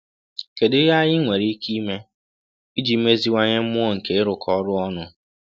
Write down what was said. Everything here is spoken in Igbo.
Kedu ihe anyị nwere ike ime iji meziwanye mmụọ nke ịrụkọ ọrụ ọnụ?